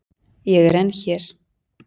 Ég er enn hér.